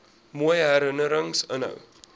mooi herinnerings inhou